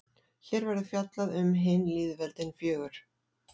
Hér verður fjallað um hin lýðveldin fjögur.